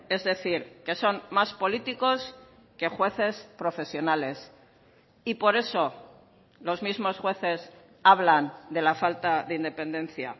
es decir que son más políticos que jueces profesionales y por eso los mismos jueces hablan de la falta de independencia